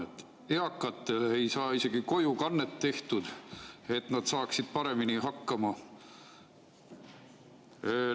Eakatele ei saa isegi kojukannet tehtud, et nad saaksid paremini hakkama.